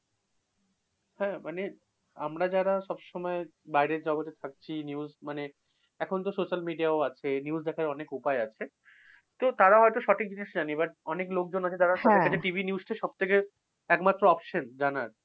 হ্যাঁ মানে আমরা যারা সবসময় বাইরের জগতে থাকছি news মানে এখনতো social media ও আছে, news দেখার অনেক উপায় আছে। তো তারা হয়ত সঠিক জিনিস জানি but অনেক লোকজন আছে যারা সন্ধ্যা থেকে TV news টা সব থেকে একমাত্র option জানার।